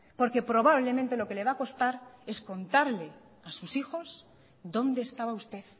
porque probablemente lo que le va a costar es contarles a sus hijos dónde estaba usted